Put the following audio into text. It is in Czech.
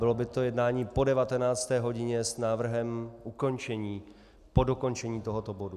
Bylo by to jednání po 19. hodině s návrhem ukončení po dokončení tohoto bodu.